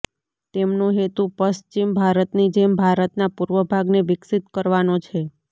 તેમનો હેતું પશ્વિમ ભારતની જેમ ભારતના પૂર્વ ભાગને વિકસિત કરવાનો છે